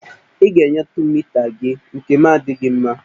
Ị ga-enyetụ m mita gị, nkem adịghị mma